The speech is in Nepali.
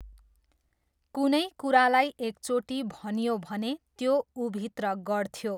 कुनै कुरालाई एकचोटि भनियो भने त्यो ऊभित्र गढ्थ्यो!